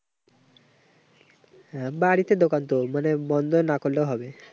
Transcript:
হ্যাঁ, বাড়িতে দোকান তো। মানে বন্ধ না করলেও হবে।